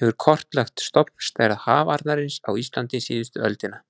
hefur kortlagt stofnstærð hafarnarins á Íslandi síðustu öldina.